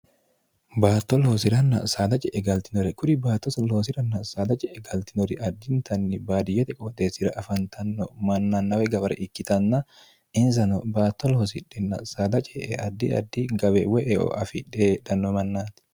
baatto loosi'ranna saada ce'e galtinore kuri baattos loosi'ranna saada ce'e galtinori addintanni baadiyyete qooxeessira afantanno mannannawe gabare ikkitanna insano baatto looosidhinna saada cee'e addi addi gawe we eo afi dheedhanno mannaati